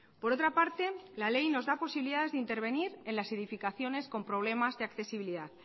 por otra parte la ley nos da posibilidades de intervenir en las edificaciones con problemas de accesibilidad